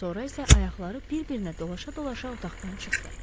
Sonra isə ayaqları bir-birinə dolaşa-dolaşa otaqdan çıxdı.